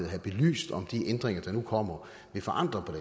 have belyst om de ændringer der nu kommer vil forandre på